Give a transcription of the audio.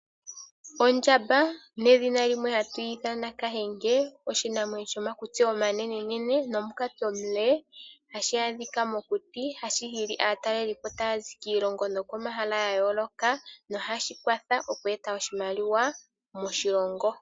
Ondjamba nedhina limwe hatu yi ithana kahenge. Oshinamwenyo shomakutsi omanene nomukati omule . Ohashi adhika mokuti. Ohashi hili aataleli tayazi kiilongo nokomahala ga yooloka nohashi kwatha oku eta oshimaliwa moshilongo.